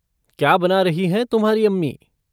क्या बना रही हैं तुम्हारी अम्मी?